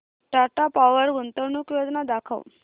Tata Power गुंतवणूक योजना दाखव